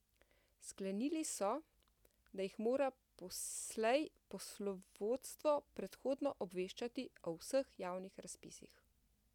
Sklenili so, da jih mora poslej poslovodstvo predhodno obveščati o vseh javnih razpisih.